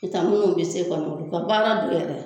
Ki taa minnu bi se ka u ka baara yɛrɛ